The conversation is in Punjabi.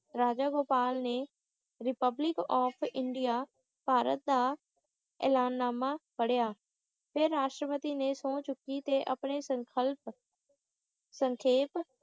ਰਾਜਾ ਗੋਪਾਲ ਨੇ ਰਿਪਬਲਿਕ ਆਫ ਇੰਡੀਆ ਭਾਰਤ ਦਾ ਐਲਾਨਨਾਮਾ ਪੜ੍ਹਿਆ ਤੇ ਰਾਸ਼ਟਰਪਤੀ ਨੇ ਸੋਹੁੰ ਚੁੱਕੀ ਤੇ ਆਪਣੇ ਸੰਕਲਪ ਸੰਖੇਪ